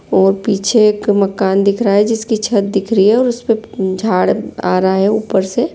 पीछे एक मकान दिख रहा है जिसकी छत दिख रही है और उसे पर झाड़ आ रहा है ऊपर से --